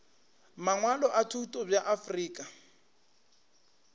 mangwalo a thuto bja afrika